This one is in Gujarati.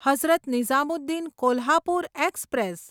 હઝરત નિઝામુદ્દીન કોલ્હાપુર એક્સપ્રેસ